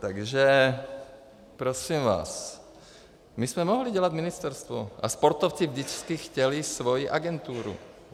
Takže prosím vás, my jsme mohli dělat ministerstvo a sportovci vždycky chtěli svoji agenturu.